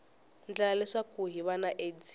endla leswaku hiv na aids